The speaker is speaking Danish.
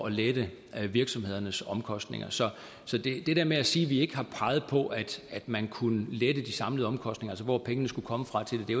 at lette virksomhedernes omkostninger så det der med at sige at vi ikke har peget på at man kunne lette de samlede omkostninger altså hvor pengene skulle komme fra til det